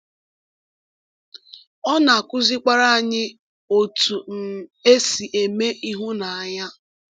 Ọ na-akụzikwara anyị otú um e si eme ịhụnanya.